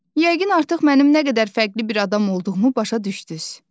Yəqin artıq mənim nə qədər fərqli bir adam olduğumu başa düşdünüz.